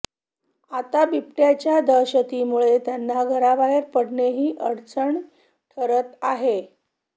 आता बिबट्याच्या दहशतीमुळे त्यांना घराबाहेर पडणेही अडचणी ठरत आहे